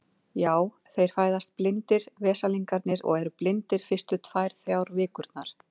Já, þeir fæðast blindir, veslingarnir, og eru blindir fyrstu tvær, þrjár vikurnar.